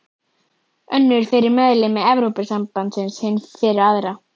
Önnur fyrir meðlimi Evrópusambandsins, hin fyrir aðra.